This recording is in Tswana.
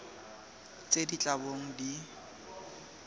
tse di tla bong di